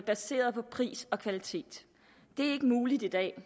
baseret på pris og kvalitet det er ikke muligt i dag